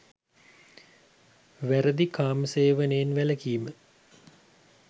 වැරදි කාමසේවනයෙන් වැළකීම